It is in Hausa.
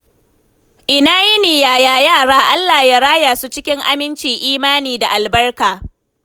Ina yini, yaya yara? Allah ya raya su cikin aminci Imani da albarka.